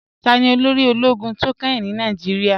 Tani olóri òlógún tí o kẹ́hìn ní Nàìjíríà?